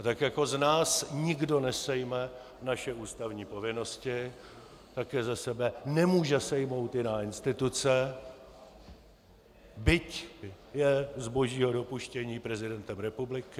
A tak jako z nás nikdo nesejme naše ústavní povinnosti, tak je ze sebe nemůže sejmou jiná instituce, byť je z božího dopuštění prezidentem republiky.